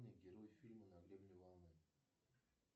герой фильма на гребне волны